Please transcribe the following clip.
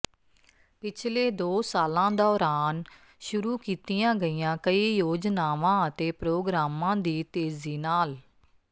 ਪਿਛਲੇ ਦੋ ਸਾਲਾਂ ਦੌਰਾਨ ਸ਼ੁਰੂ ਕੀਤੀਆਂ ਗਈਆਂ ਕਈ ਯੋਜਨਾਂਵਾਂ ਅਤੇ ਪ੍ਰੋਗਰਾਮਾਂ ਦੀ ਤੇਜ਼ੀ ਨਾਲ